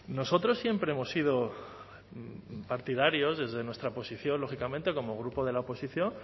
nosotros siempre hemos sido partidarios desde nuestra posición lógicamente como grupo de la oposición